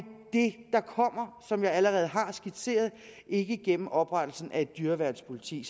det der kommer som jeg allerede har skitseret og ikke gennem oprettelsen af et dyreværnspoliti